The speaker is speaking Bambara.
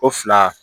O fila